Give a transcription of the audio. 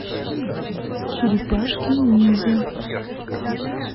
черепашки ниндзя